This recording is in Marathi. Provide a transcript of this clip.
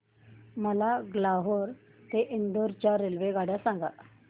मला ग्वाल्हेर ते इंदूर च्या रेल्वेगाड्या सांगा